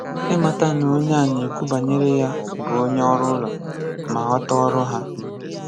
Ịmata na onye a n'ekwu banyere ya bụ onye ọrụ ụlọ, ma ghọta ọrụ ha.